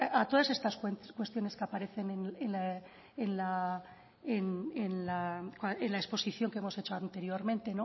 a todas estas cuestiones que aparecen en la exposición que hemos hecho anteriormente